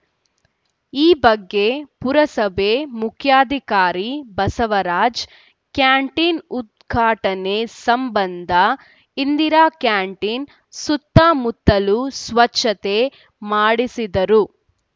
ಈ ಬಗ್ಗೆ ಪುರಸಭೆ ಮುಖ್ಯಾಧಿಕಾರಿ ಬಸವರಾಜ್‌ ಕ್ಯಾಂಟೀನ್‌ ಉದ್ಘಾಟನೆ ಸಂಬಂಧ ಇಂದಿರಾ ಕ್ಯಾಂಟೀನ್‌ ಸುತ್ತಮುತ್ತಲು ಸ್ವಚ್ಛತೆ ಮಾಡಿಸಿದ್ದರು